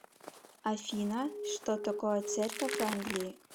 афина что такое церковь англии